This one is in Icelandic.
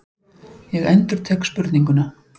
Ég endurtek spurninguna.